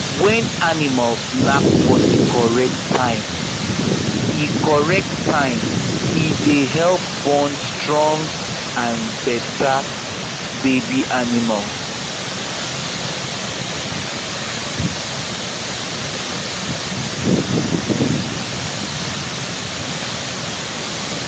when animals knack for the correct time e correct time e dey help born stronge and better baby animals